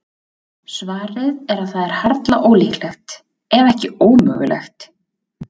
Svarið er að það er harla ólíklegt, ef ekki ómögulegt.